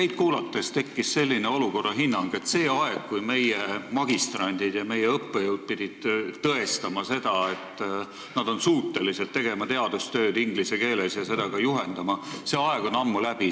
Teid kuulates tahaks olukorda hinnata nii, et see aeg, kui meie magistrandid ja õppejõud pidid tõestama, et nad on suutelised tegema teadustööd inglise keeles ja seda ka juhendama, on ammu läbi.